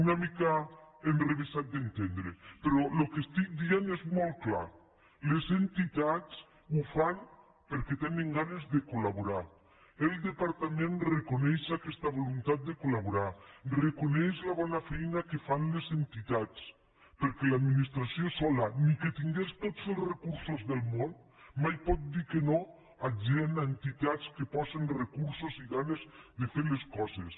una mica enrevessat d’entendre però el que dic és molt clar les entitats ho fan perquè tenen ganes de col·coneix aquesta voluntat de colna feina que fan les entitats perquè l’administració sola ni que tingués tots els recursos del món mai pot dir que no a gent a entitats que posen recursos i ganes de fer les coses